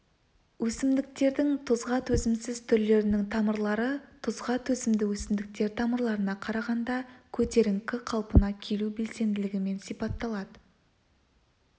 өсімдіктердің тұзға төзімсіз түрлерінің тамырлары тұзға төзімді өсімдіктер тамырларына қарағанда көтеріңкі қалпына келу белсенділігімен сипатталады